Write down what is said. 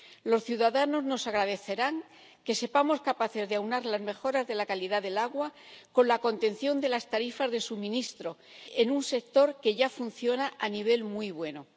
Los ciudadanos nos agradecerán que seamos capaces de aunar las mejoras de la calidad del agua con la contención de las tarifas de suministro en un sector que ya funciona a nivel muy bueno.